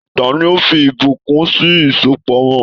Tani o fí ìbùkún sì ìsopọ̀ wọn?